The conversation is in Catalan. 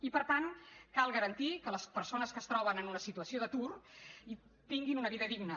i per tant cal garantir que les persones que es troben en una situació d’atur tinguin una vida digna